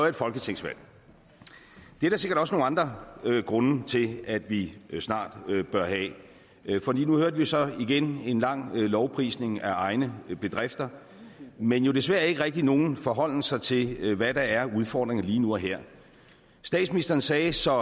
et folketingsvalg det er der sikkert også nogle andre grunde til at vi snart bør have for nu hørte vi så igen en lang lovprisning af egne bedrifter men jo desværre ikke rigtig nogen forholden sig til hvad der er af udfordringer lige nu og her statsministeren sagde så